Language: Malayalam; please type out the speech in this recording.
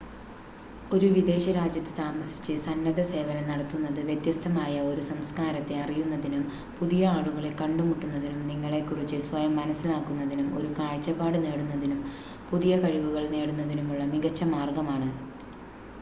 ഒരു വിദേശ രാജ്യത്ത് താമസിച്ച് സന്നദ്ധസേവനം നടത്തുന്നത് വ്യത്യസ്തമായ ഒരു സംസ്കാരത്തെ അറിയുന്നതിനും പുതിയ ആളുകളെ കണ്ടുമുട്ടുന്നതിനും നിങ്ങളെ കുറിച്ച് സ്വയം മനസ്സിലാക്കുന്നതിനും ഒരു കാഴ്‌ചപ്പാട് നേടുന്നതിനും പുതിയ കഴിവുകൾ നേടുന്നതിനുമുള്ള മികച്ച മാർഗമാണ്